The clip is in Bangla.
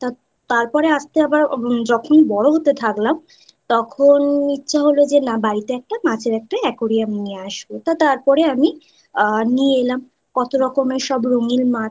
তো তার পরে আস্তে আবার যখন বড় হতে থাকলাম তখন ইচ্ছে হলো যে না বাড়িতে একটা মাছের একটা aquarium নিয়ে আসবো তারপরে আমি নিয়ে এলাম।